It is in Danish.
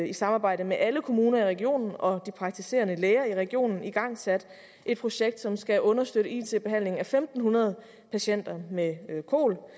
i samarbejde med alle kommuner i regionen og de praktiserende læger i regionen igangsat et projekt som skal understøtte it behandlingen af fem hundrede patienter med kol